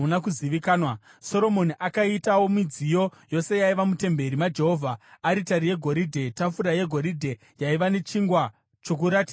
Soromoni akaitawo midziyo yose yaiva mutemberi maJehovha: aritari yegoridhe; tafura yegoridhe yaiva nechingwa choKuratidza, pamusoro payo;